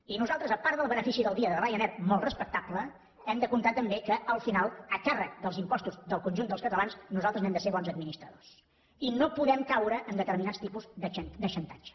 i nosaltres a part del benefici del dia de ryanair molt respectable hem de comptar també que al final a càrrec dels impostos del conjunt dels catalans nosaltres n’hem de ser bons administradors i no podem caure en determinats tipus de xantatge